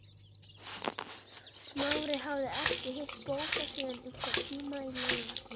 Smári hafði ekki hitt Bóas síðan einhvern tíma á laugar